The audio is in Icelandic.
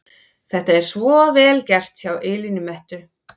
Þetta er svo VEL GERT hjá Elínu Mettu!